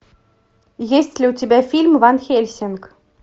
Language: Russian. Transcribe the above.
есть ли у тебя фильм ван хельсинг